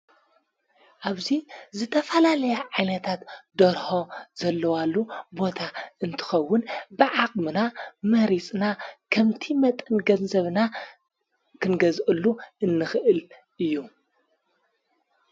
ኣብዙይ ዝተፋላልያ ዓይነታት ደርሖ ዘለዋሉ ቦታ እንትኸውን ብዓቕምና መሪጽና ኸምቲ መጠንገዘብና ክንገዝአሉ እንኽእል እዩ።